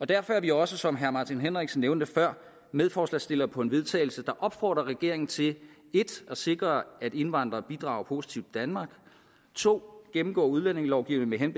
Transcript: derfor er vi også som herre martin henriksen nævnte før medforslagsstillere på et vedtagelse der opfordrer regeringen til 1 at sikre at indvandrere bidrager positivt danmark 2 at gennemgå udlændingelovgivningen